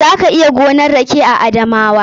Za ka iya gonan rake a Adamawa.